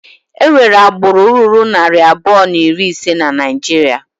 Enwere agbụrụ ruru narị abụọ na iri ise na Naijiria.